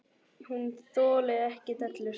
Hún þolir ekki dellur.